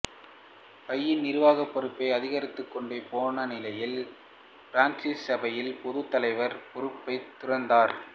சபையின் நிர்வாகப் பொறுப்பு அதிகரித்துக்கொண்டே போன நிலையில் பிரான்சிசு சபையின் பொதுத் தலைவர் பொறுப்பைத் துறந்தார்